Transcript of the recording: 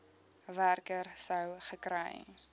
werker sou gekry